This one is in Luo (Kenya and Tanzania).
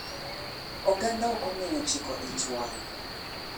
Oganda okong'eyo chiko ich wang.